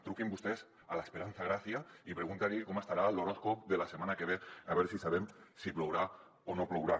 truquin vostès a l’esperanza gracia i preguntin li com estarà l’horòscop de la setmana que ve a veure si sabem si plourà o no plourà